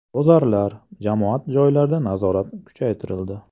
Bozorlar, jamoat joylarida nazorat kuchaytirildi.